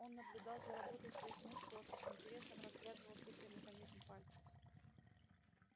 он наблюдал за работой своих мускулов и с интересом разглядывал хитрый механизм пальцев